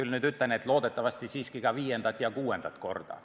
Loodetavasti ei pea me seda tegema ka viiendat ja kuuendat korda.